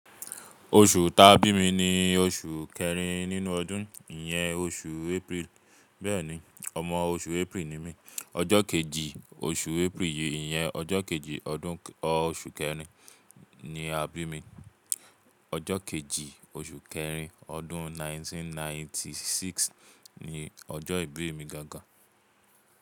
Oṣù ta bí mi ni oṣù kẹrin nínú ọdún, ìyẹn oṣù April, bẹ́ẹ̀ni ọmọ oṣù April ni mí. Ọjọ kejì, oṣù April yìí, ìyẹn ọjọ kejì ọdún oṣù kẹrin ni a bí mi. Ọjọ kejì, oṣù kẹrin, ọdún 1996 ni ọjọ ìbí mi gangan.